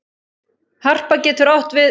Harpa getur átt við